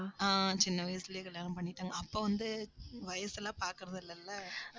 ஆஹ் சின்ன வயசுலயே கல்யாணம் பண்ணிட்டாங்க. அப்ப வந்து, வயசு எல்லாம் பாக்குறது இல்லல்ல